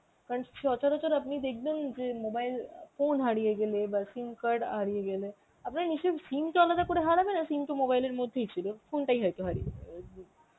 কারণ সচারচর আপনি দেখবেন যে mobile phone হারিয়ে গেলে বা SIM card হারিয়ে গেলে, আপনার নিশ্চয়ই SIM তো আলাদা করে হারাবে না, SIM তো mobile এর মধ্যেই ছিল, phone তাই হয়তো হারিয়ে